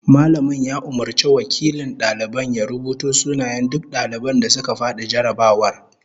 Mallamin ya umurci wakilin daliban ya rubuto sunayen duk daliban da suka fadi jarrabawar